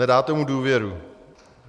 Nedáte mu důvěru.